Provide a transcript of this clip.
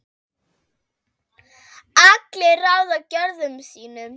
allir ráða gjörðum sín